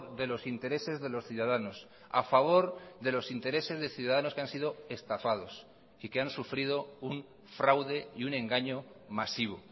de los intereses de los ciudadanos a favor de los intereses de ciudadanos que han sido estafados y que han sufrido un fraude y un engaño masivo